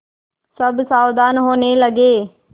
सब सावधान होने लगे